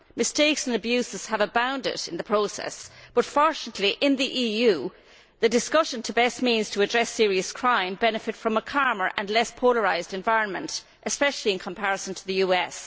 Mistakes and abuses have abounded in the process, but fortunately, in the EU, discussions on the best means to address serious crime benefit from a calmer and less polarised environment, especially in comparison to the US.